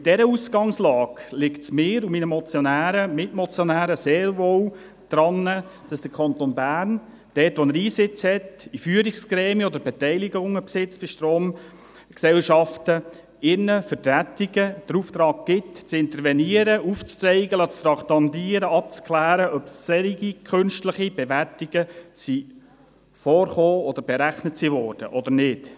Mit dieser Ausgangslage liegt es mir und meinen Mitmotionären sehr wohl daran, dass der Kanton Bern dort, wo er Einsitz in Führungsgremien hat oder Beteiligungen an Stromgesellschaften besitzt, seinen Vertretungen den Auftrag gibt, zu intervenieren, aufzuzeigen, traktandieren zu lassen, abzuklären, ob solche künstliche Bewertungen vorgekommen oder berechnet worden sind oder nicht.